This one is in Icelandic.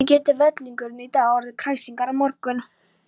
Hvernig getur vellingurinn í dag orðið kræsingar á morgun?